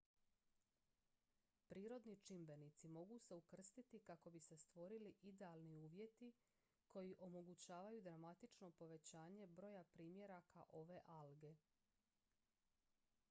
prirodni čimbenici mogu se ukrstiti kako bi se stvorili idealni uvjeti koji omogućavaju dramatično povećanje broja primjeraka ove alge